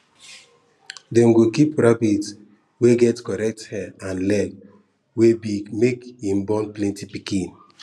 dem go keep rabbit wey get correct hair and leg wey big make him born plenty pikin